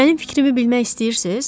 Mənim fikrimi bilmək istəyirsiz?